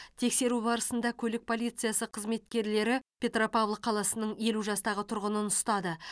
тексеру барысында көлік полициясы қызметкерлері петропавл қаласының елу жастағы тұрғынын ұстады